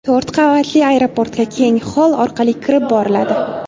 To‘rt qavatli aeroportga keng xoll orqali kirib boriladi.